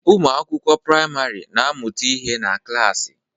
Ụmụ akwụkwọ praịmarị na-amụta ihe na klasi